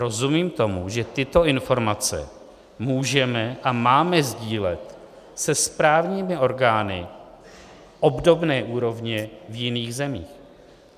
Rozumím tomu, že tyto informace můžeme a máme sdílet se správními orgány obdobné úrovně v jiných zemích.